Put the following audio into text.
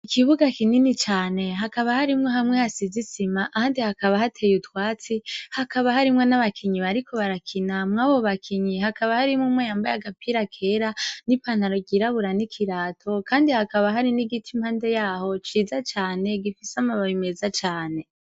Ikibuga kinini cane hakaba harimwo hamwe hasize isima ahandi hakaba hateye utwatsi hakaba harimwo n'abakinyi bariko barakina mwabo bakinyi hakaba harimwo umwe yambaye agapira kera n'ipantaro ryirabura n'ikirato kandi hakaba hari n'igiti kiri impande yaho ciza cane gifise amababi meza cane.